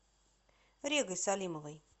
регой салимовой